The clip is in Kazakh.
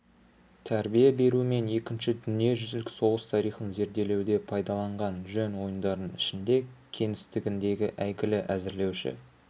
тәрбие беру мен екінші дүниежүзілік соғыс тарихын зерделеуде пайдаланған жөн ойындардың ішінде кеңістігінде әйгілі әзірлеуші